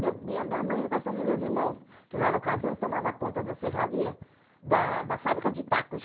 Meu, minha mãe caçando os meus irmãos, que na ocasião tomavam conta da serraria, da da fábrica de tacos.